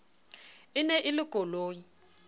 e ne e le koloi